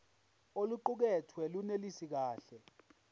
oluqukethwe lunelisi kahle